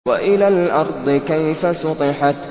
وَإِلَى الْأَرْضِ كَيْفَ سُطِحَتْ